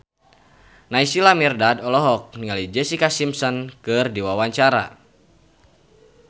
Naysila Mirdad olohok ningali Jessica Simpson keur diwawancara